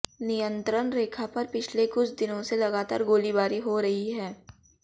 नियंत्रण रेखा पर पिछले कुछ दिनों से लगातार गोलीबारी हो रही है